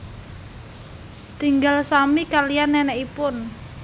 Tinggal sami kaliyan nenekipun